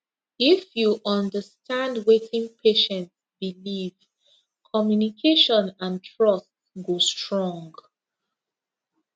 if you understand wetin patient believe communication and trust go strong